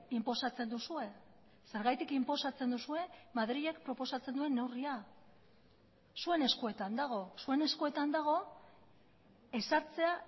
inposatzen duzue zergatik inposatzen duzue madrilek proposatzen duen neurria zuen eskuetan dago zuen eskuetan dago ezartzea